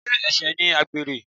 Sé ẹ̀ṣẹ̀ ni àgbèrè?